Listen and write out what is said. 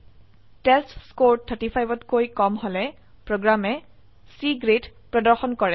টেষ্টস্কৰে 35 কৈ কম হলে প্ৰোগ্ৰামে C গ্ৰেড প্ৰদৰ্শন কৰে